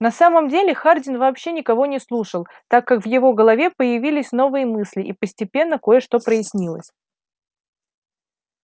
на самом деле хардин вообще никого не слушал так как в его голове появились новые мысли и постепенно кое-что прояснилось